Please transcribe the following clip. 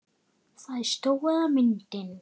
Það er stóra myndin.